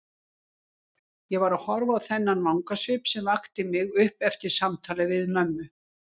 Ég var að horfa á þennan vangasvip sem vakti mig upp eftir samtalið við mömmu.